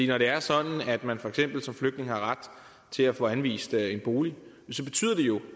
når det er sådan at man for eksempel som flygtning har ret til at få anvist en bolig